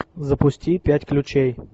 запусти пять ключей